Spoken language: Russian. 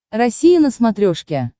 россия на смотрешке